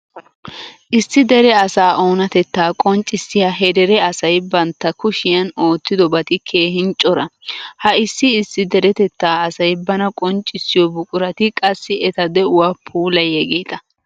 Issi dere asaa oonatettaa qonccissiya he dere asay bantta kushiyan oottidobati keehin cora. Ha issi issi deretettaa asay bana qonccissiyo buqurati qassi eta de'uwa puulayiyageeta.